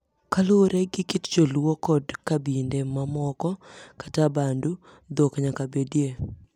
Kaluwore gi kit joluo kod kabinde mamomoko kaka abandu, dhok nyakabedie.